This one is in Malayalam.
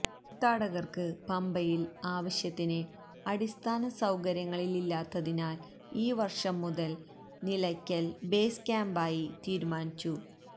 തീര്ത്ഥാടകര്ക്ക് പമ്പയില് ആവശ്യത്തിന് അടിസ്ഥാന സൌകര്യങ്ങളില്ലാത്തതിനാല് ഈ വര്ഷം മുതല് നിലക്കല് ബേസ് ക്യാമ്പായി തീരുമാനിച്ചു